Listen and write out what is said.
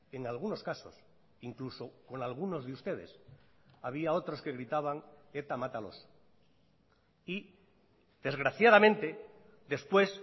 en algunos casos incluso con algunos de ustedes había otros que gritaban eta mátalos y desgraciadamente después